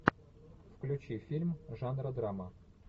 включи фильм жанра драма